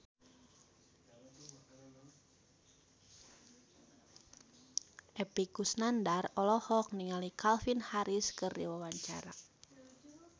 Epy Kusnandar olohok ningali Calvin Harris keur diwawancara